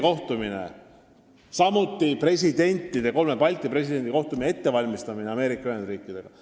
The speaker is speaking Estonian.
Valmistatakse ette kolme Balti presidendi kohtumist Ameerika Ühendriikide presidendiga.